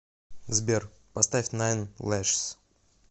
сбер поставь найн лэшс